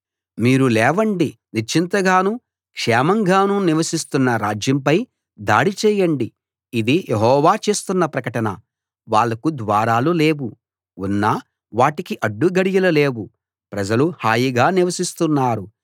మీరు లేవండి నిశ్చింతగానూ క్షేమంగానూ నివసిస్తున్న రాజ్యంపై దాడి చేయండి ఇది యెహోవా చేస్తున్న ప్రకటన వాళ్లకు ద్వారాలు లేవు ఉన్నా వాటికి అడ్డు గడియలు లేవు ప్రజలు హాయిగా నివసిస్తున్నారు